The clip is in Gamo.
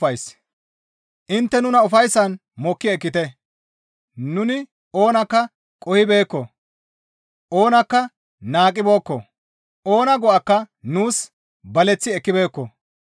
Intte nuna ufayssan mokki ekkite; nuni oonakka qohibeekko; oonakka naaqqibeekko; oona go7akka nuus baleththi ekkibeekko.